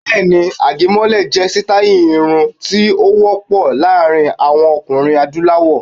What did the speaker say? Bẹ́ẹ̀ ni, àgẹ̀mọ́lẹ̀ jẹ́ sítáì irun tí ó wọ́ pọ̀ láàrin àwọn ọkùnrin Adúláwọ̀.